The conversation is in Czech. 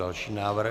Další návrh.